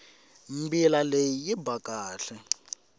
mbila leyi yi ba kahle